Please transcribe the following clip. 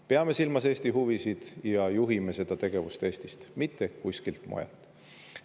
Peame silmas Eesti huvisid ja juhime seda tegevust Eestist, mitte kuskilt mujalt.